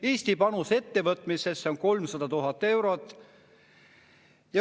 Eesti panus ettevõtmisesse on 300 000 eurot.